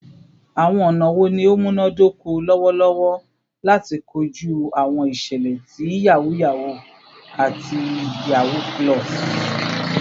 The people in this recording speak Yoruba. Awọn ọna wo ni o munadoko lọwọlọwọ lati koju awọn iṣẹlẹ ti yahoo yahoo ati yahoo +?